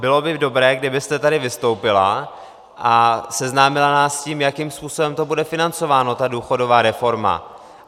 Bylo by dobré, kdybyste tady vystoupila a seznámila nás s tím, jakým způsobem to bude financováno, ta důchodová reforma.